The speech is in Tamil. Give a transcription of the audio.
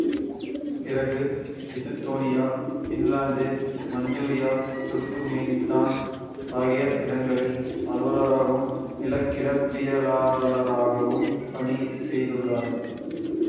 பிறகு எசுத்தோனியா பின்லாந்து மஞ்சூரியா துருக்குமேனித்தான் ஆகிய இடங்களில் அலுவலராகவும் நிலக்கிடப்பியலாளராகவும் பணி செய்துள்ளார்